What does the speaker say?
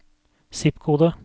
zip-kode